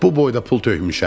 Bu boyda pul tökmüşəm.